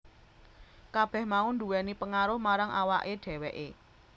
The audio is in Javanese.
Kabeh mau nduwèni pengaruh marang awake dheweke